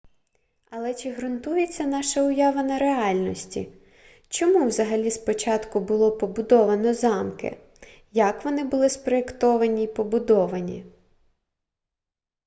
але чи ґрунтується наша уява на реальності чому взагалі спочатку було побудовано замки як вони були спроєктовані й побудовані